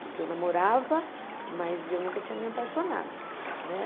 Porque eu namorava, mas eu nunca tinha me apaixonado, né?